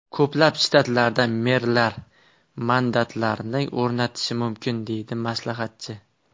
Ko‘plab shtatlarda merlar mandatlarni o‘rnatishi mumkin”, deydi maslahatchi.